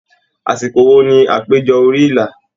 Àsìkò wo ní àpéjọ orí ìlà?